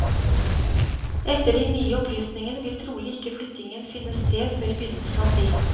Etter de nye opplysningene vil trolig ikke flyttingen finne sted før i begynnelsen av april.